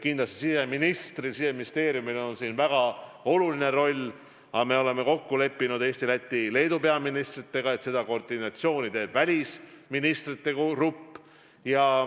Kindlasti siseministril ja Siseministeeriumil on siin väga oluline roll, aga me oleme kokku leppinud Eesti, Läti ja Leedu peaministriga, et seda koordineerib välisministrite grupp.